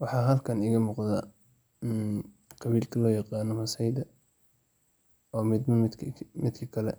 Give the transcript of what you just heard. Waxa haalkan iga muqdo qabiilka loyaqano masaida o midba midka kale